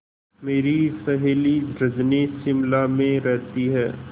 मेरी सहेली रजनी शिमला में रहती है